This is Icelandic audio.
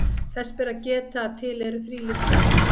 Þess ber að geta að til eru þrílit fress.